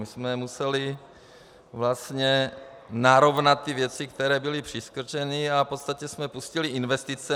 My jsme museli vlastně narovnat ty věci, které byly přikrčeny, a v podstatě jsme pustili investice.